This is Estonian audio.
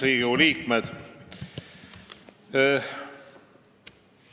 Riigikogu liikmed!